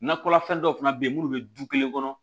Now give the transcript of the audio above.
Nakɔlafɛn dɔw fana bɛ yen minnu bɛ du kelen kɔnɔ